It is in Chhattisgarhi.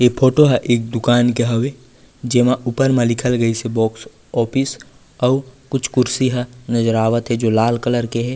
इ फोटो है एक दुकान के हवे जेमा ऊपर में लिखल गइसे बॉक्स ऑफिस अउ कुछ कुर्सी ह नज़र आवत है जो लाल कलर के हे।